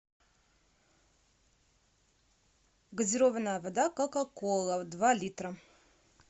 газированная вода кока кола два литра